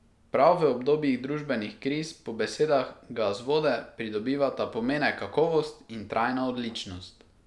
Prav v obdobjih družbenih kriz po besedah Gazvode pridobivata pomene kakovost in trajna odličnost.